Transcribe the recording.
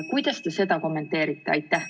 Kuidas te seda kommenteerite?